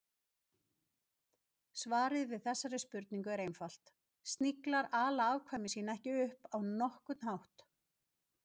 Svarið við þessari spurningu er einfalt: Sniglar ala afkvæmi sín ekki upp á nokkurn hátt.